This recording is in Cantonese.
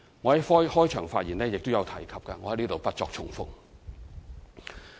我在開場發言已曾提及，在此不作重複。